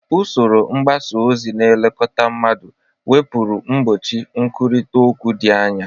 Usoro mgbasa ozi na-elekọta mmadụ nwepuru mgbochi nkwurịta okwu dị anya.